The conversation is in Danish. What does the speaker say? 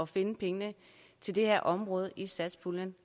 finde pengene til det her område i satspuljen